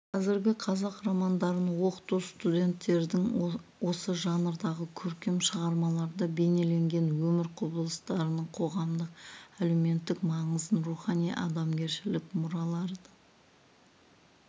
қазіргі қазақ романдарын оқыту студенттердің осы жанрдағы көркем шығармаларда бейнеленген өмір құбылыстарының қоғамдық-әлеуметтік маңызын рухани адамгершілік мұралардың